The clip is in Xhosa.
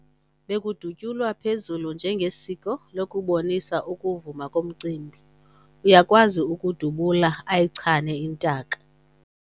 Bekudutyulwa phezulu njengesiko lokubonisa ukuvuma komcimbi. uyakwazi ukudubula ayichane intaka